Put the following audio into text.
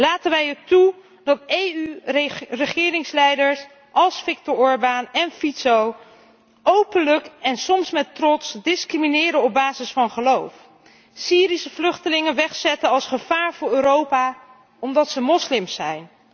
Laten wij het toe dat EU regeringsleiders als Viktor Orbán en Fico openlijk en soms met trots discrimineren op basis van geloof en Syrische vluchtelingen wegzetten als gevaar voor Europa, omdat ze moslims zijn?